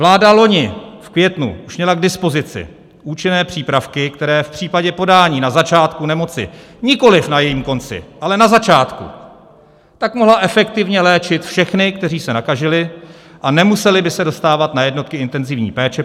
Vláda loni v květnu už měla k dispozici účinné přípravky, které v případě podání na začátku nemoci, nikoliv na jejím konci, ale na začátku, tak mohly efektivně léčit všechny, kteří se nakazili, a nemuseli by se dostávat na jednotky intenzivní péče.